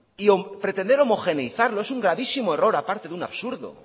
y pretender homogeneizarlo es un gravísimo error aparte de un absurdo